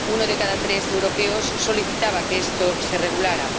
Uno de cada tres europeos solicitaba que esto se regulara.